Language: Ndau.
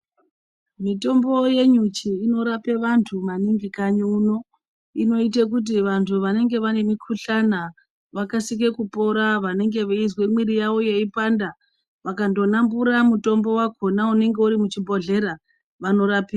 Mitombo yenyuchi inorape antu maningi kanyi uno. Inoite kuti vantu vanenge vane mikhuhlana vakasike kupora. Vanenge veizwa mwiri yavo yeipanda, vakandonambura mutombo wakhona unenge uri muchibhodhlera ,vanorapika.